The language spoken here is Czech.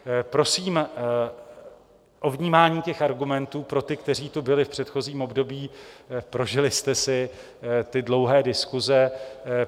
Prosím o vnímání těch argumentů pro ty, kteří tu byli v předchozím období, prožili jste si ty dlouhé diskuse.